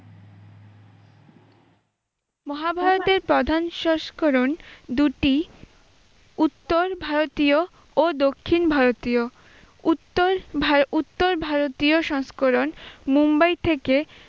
মহাভারতের প্রধান সংস্করণ দুটি উত্তর ভারতীয় ও দক্ষিণ ভারতীয়। উত্তর ভার- উত্তর ভারতীয় সংস্করণ মুম্বাই থেকে